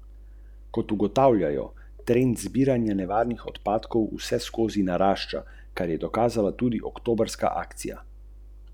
Za teh deset centimetrov ...